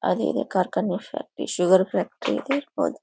ಅದು ಇದೆ ಕಾರ್ಖಾನೆ ಸ ಈ ಶುಗರ್ ಫ್ಯಾಕ್ಟರಿ ಇರಬಹುದು.